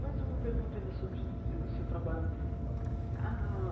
Mais uma pergunta ainda sobre o seu trabalho.